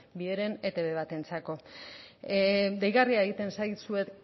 bi heren etb batentzako deigarria egiten zait zuek